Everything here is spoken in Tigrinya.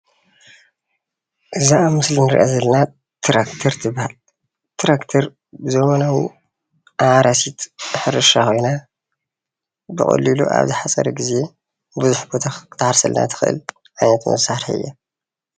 እዛ ኣብ ምስሊ እንሪኣ ዘለና ትራክተር ትበሃል፣ ትራክተር ዘበናዊ መሕረሲት ናይ ሕርሻ ኮይና ብቀሊሉ ኣብ ዝሓፀረ ግዜ ብዙሕ ቦታ ክትሓርሰልና ትክእል ዓይነት መሳርሒ እያ፡፡